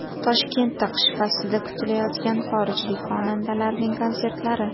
Toshkentda qish faslida kutilayotgan xorijlik xonandalarning konsertlari.